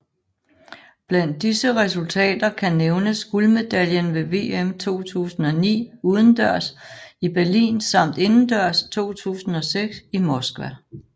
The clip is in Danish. Blandt disse resultater kan nævnes guldmedaljen ved VM 2009 udendørs i Berlin samt indendørs 2006 i Moskva